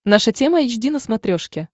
наша тема эйч ди на смотрешке